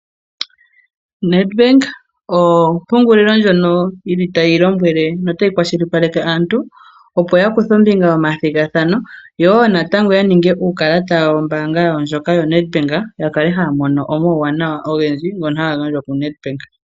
Nedbank ompungulilo ndjono tayi lombwele notayi kwashilipaleke aantu, opo yakuthe ombinga momathigathano. Yo woo natango ya ninge uukalata wawo wombaanga yawo ndjoka ya Nedbank ya kale haya mono omawuwanawa ogendji ngoka haga gandjwa ku Nedbank.